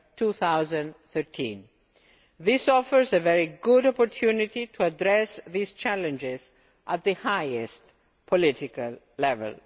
2013. This offers a very good opportunity to address these challenges at the highest political level.